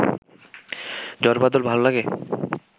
ঝড়বাদল ভাল লাগে?